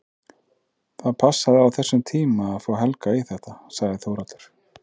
Það passaði á þessum tíma að fá Helga í þetta, sagði Þórhallur.